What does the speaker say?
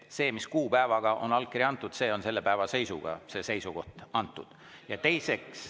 See kuupäev, millal on allkiri antud, selle päeva seisuga on ka see seisukoht antud.